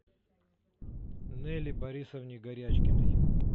нелли борисовне горячкиной